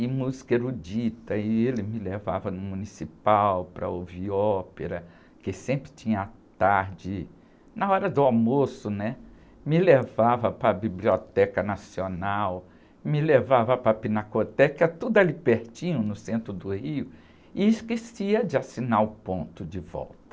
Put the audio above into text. e música erudita, e ele me levava no municipal para ouvir ópera, que sempre tinha tarde, na hora do almoço, né? Me levava para a Biblioteca Nacional, me levava para a Pinacoteca, tudo ali pertinho, no centro do Rio, e esquecia de assinar o ponto de volta.